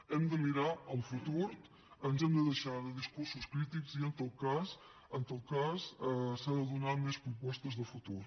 hem de mirar al futur ens hem de deixar de discursos crítics i en tot cas s’han de donar més propostes de futur